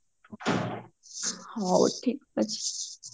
ହଉ ଠିକ୍ ଅଛି